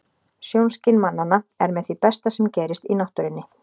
Sjónskyn mannanna er með því besta sem gerist í náttúrunni.